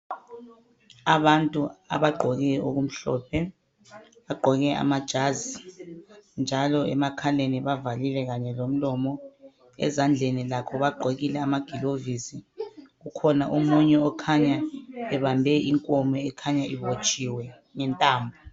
Abantu abagqoke okumhlophe, bagqoke amajazi njalo emakhaleni bavalile kanye lomlomo. Ezandleni lakho bagqokile amagilovisi. Kukhona omunye okhanya ebambe inkomo ekhanya ibotshiwe ngentambo.